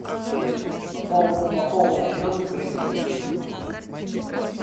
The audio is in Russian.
пополнить счет в кредит